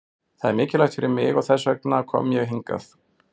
Það er mikilvægt fyrir mig og þess vegna kom ég hingað.